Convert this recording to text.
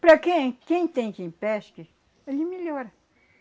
Para quem, quem tem quem pesque, hoje melhora.